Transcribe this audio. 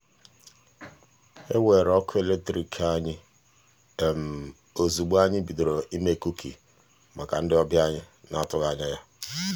e weere ọkụ eletrik anyị ozugbo anyị bidoro ime kuki maka ndị ọbịa anyi n'atụghị anya ya.